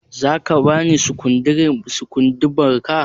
Zaka bani sukundibar ka?